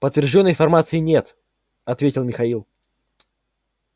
подтверждённой информации нет ответил михаил